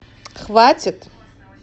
хватит